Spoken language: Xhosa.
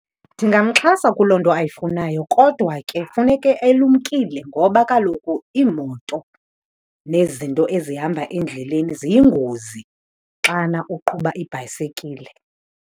Ndingamxhasa kuloo nto ayifunayo, kodwa ke funeke elumkile ngoba kaloku iimoto nezinto ezihamba endleleni ziyingozi xana uqhuba ibhayisekile.